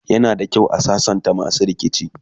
yana da kyau a sassanta masu rikici